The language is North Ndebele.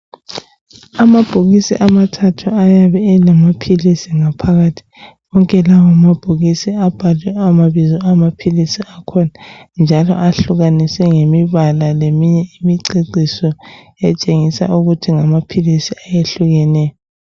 Amabhokisi amathathu ayabe elamaphilisi Ngaphakathi wonke lawa mabhokisi abhalwe amabizo amaphilisi akhona njalo ahlukaniswe ngemibala leminye imiceciso etshengisa ukuthi ngamaphilisi eyehlukeneyo